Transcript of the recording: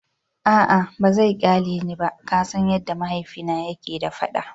A'a ba zai kyale ni ba, ka san yadda mahaifina yake da fada.